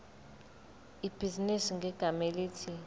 ibhizinisi ngegama elithi